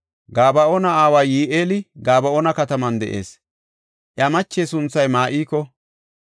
Gaba7oona aaway Yi7eeli Gaba7oona kataman de7is; iya mache sunthay Ma7iko.